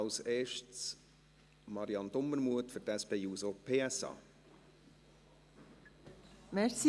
zuerst Marianne Dumermuth für die SP-JUSO-PSAFraktion.